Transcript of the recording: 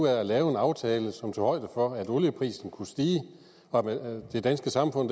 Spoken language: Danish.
af at lave en aftale som for at olieprisen kunne stige og det danske samfund